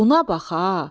Buna baxa!